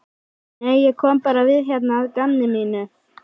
Nei, ég kom bara við hérna að gamni mínu.